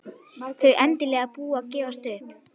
Þau endanlega búin að gefast upp.